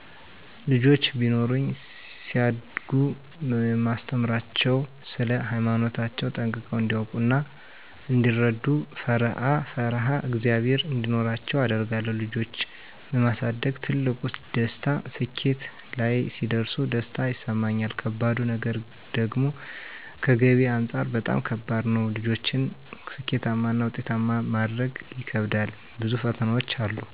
ልጆች ቢኖሩኝ ሲያድጉ የማስተምራቸዉ ስለ ሃይማኖታቸዉ ጠንቅቀዉ እንዲያዉቁ እና እንዲረዱ፣ ፈሪአ ፈሪሃ እግዝአብሔር እንዲኖራቸዉ አደርጋለሁ ልጆች የማሳደግ ትልቁ ደስታ ስኬት ላይ ሲደርሱ ደስታ ይሰማኛል ከባዱ ነገር ደግሞከገቢ አንፃር በጣም ከባድ ነዉ ልጆችን ስኬታማና ዉጤታማ ማድረጉ ይከብዳል ብዙ ፈተናዎች አሉ